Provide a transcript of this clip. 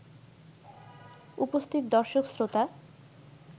উপস্থিত দর্শক-শ্রোতা